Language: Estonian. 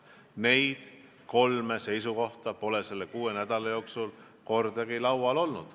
Neid kolme seisukohta pole selle kuue nädala jooksul kordagi laual olnud.